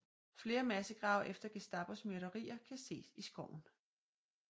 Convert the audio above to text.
Flere massegrave efter Gestapos myrderier kan ses i skoven